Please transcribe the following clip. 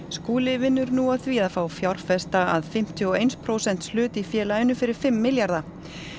Skúli vinnur nú að því að fá fjárfesta að fimmtíu og eins prósents hlut í félaginu fyrir fimm milljarða